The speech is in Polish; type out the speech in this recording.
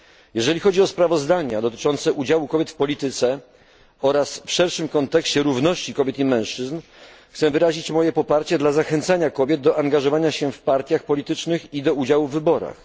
Jeżeli chodzi o sprawozdania dotyczące udziału kobiet w polityce oraz w szerszym kontekście równości kobiet i mężczyzn, chcę wyrazić moje poparcie dla zachęcenia kobiet do angażowania się w partie polityczne i do udziału w wyborach.